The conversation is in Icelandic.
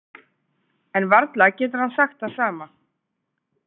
En varla getur hann sagt það sama.